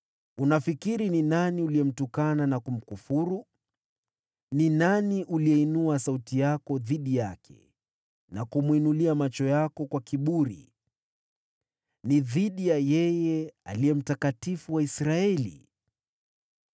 Ni nani uliyemtukana na kumkufuru? Ni nani uliyeinua sauti yako dhidi yake, na kumwinulia macho yako kwa kiburi? Ni dhidi ya yule Aliye Mtakatifu wa Israeli!